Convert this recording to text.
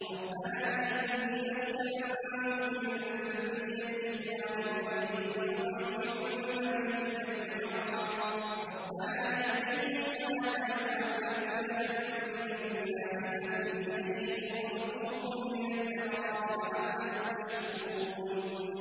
رَّبَّنَا إِنِّي أَسْكَنتُ مِن ذُرِّيَّتِي بِوَادٍ غَيْرِ ذِي زَرْعٍ عِندَ بَيْتِكَ الْمُحَرَّمِ رَبَّنَا لِيُقِيمُوا الصَّلَاةَ فَاجْعَلْ أَفْئِدَةً مِّنَ النَّاسِ تَهْوِي إِلَيْهِمْ وَارْزُقْهُم مِّنَ الثَّمَرَاتِ لَعَلَّهُمْ يَشْكُرُونَ